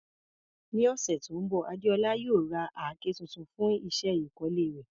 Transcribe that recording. Ní ọ̀sẹ̀ tó ń bọ̀, Adeola yóò ra àáké tuntun fún iṣẹ́ ìkọ́lé rẹ̀.